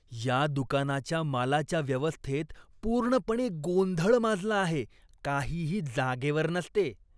या दुकानाच्या मालाच्या व्यवस्थेत पूर्णपणे गोंधळ माजला आहे. काहीही जागेवर नसते.